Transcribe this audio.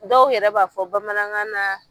Dɔw yɛrɛ b'a fɔ bamanankan na.